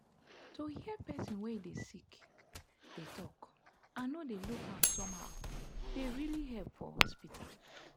to hear person wey dey sick dey talk and no dey look am somehow dey really help for hospital.